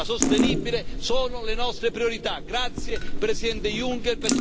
Grazie, Presidente Juncker, perché sono anche le priorità della Commissione europea.